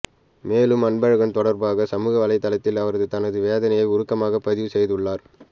மேலும் அன்பழகன் தொடர்பாக சமூகவலைதளத்தில் அவர் தனது வேதனையை உருக்கமாகப் பதிவு செய்துள்ளார்